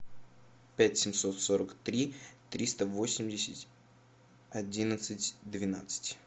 пять семьсот сорок три триста восемьдесят одиннадцать двенадцать